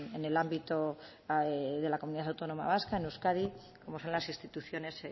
en el ámbito de la comunidad autónoma vasca en euskadi como son las instituciones